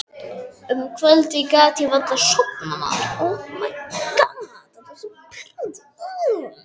Um kvöldið gat ég varla sofnað.